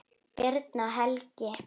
Birna og Helgi.